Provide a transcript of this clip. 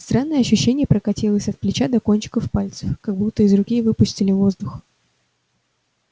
странное ощущение прокатилось от плеча до кончиков пальцев как будто из руки выпустили воздух